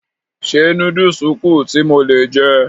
Ṣé núdùsù kù tí mo lè jẹ?